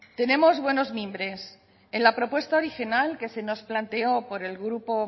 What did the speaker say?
tenemos buenos mimbres en la propuesta original que se nos planteó por el grupo